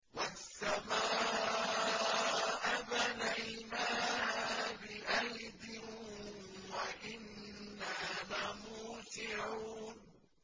وَالسَّمَاءَ بَنَيْنَاهَا بِأَيْدٍ وَإِنَّا لَمُوسِعُونَ